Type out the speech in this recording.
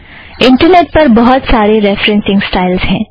internet पर बहुत सारे रेफ़रेन्ससिंग स्टाइलज़ हैं